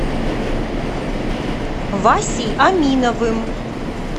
васей аминовым